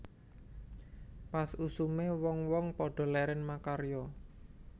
Pas usume wong wong padha leren makarya